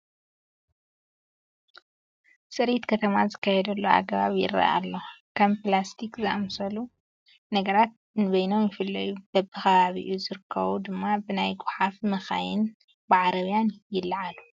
ፅሬት ከተማ ዝካየደሉ ኣገባብ ይርአ ኣሎ፡፡ ከም ፕላስቲ ዝኣምሰሉ ነገራት ንበይኖም ይፍለዩ፡፡ ብብኸባኢ ዝርከቡ ድማ ብናይ ጐሓፍ መኻይንን ብዓረብያን ይለዓሉ፡፡